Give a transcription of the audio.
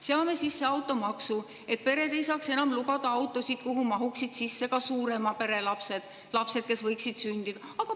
Seame sisse automaksu, et pered ei saaks enam lubada autosid, kuhu mahuksid sisse ka suurema pere lapsed ja lapsed, kes võiksid sündida.